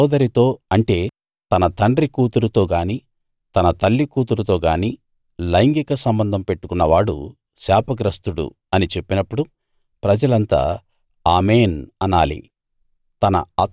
తన సోదరితో అంటే తన తండ్రి కూతురుతో గానీ తన తల్లి కూతురుతో గానీ లైంగిక సంబంధం పెట్టుకున్నవాడు శాపగ్రస్తుడు అని చెప్పినప్పుడు ప్రజలంతా ఆమేన్‌ అనాలి